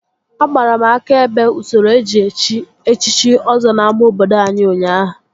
Agbara m aka ebe usoro eji echi echichi Ọzọ n'ámá obodo ụnyaahụ